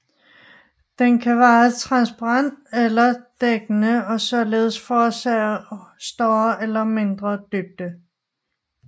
Den kan være transparent eller dækkende og således forårsage større eller mindre dybde